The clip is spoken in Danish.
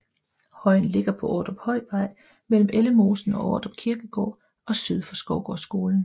Højen ligger på Ordruphøjvej mellem Ellemosen og Ordrup Kirkegård og syd for Skovgårdsskolen